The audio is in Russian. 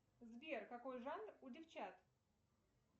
сбер какой жанр у девчат